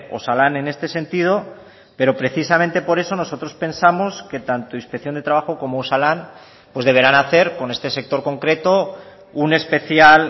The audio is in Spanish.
osalan en este sentido pero precisamente por eso nosotros pensamos que tanto inspección de trabajo como osalan pues deberán hacer con este sector concreto un especial